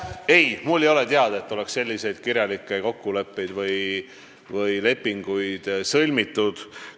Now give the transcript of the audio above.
Ei, mulle ei ole teada, et oleks mingi selline leping sõlmitud.